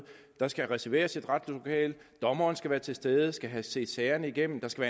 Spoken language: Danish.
der skal reserveres et retslokale dommeren skal være til stede skal have set sagerne igennem der skal